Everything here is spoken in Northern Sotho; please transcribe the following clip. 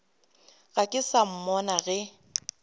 ga se ka mmona ge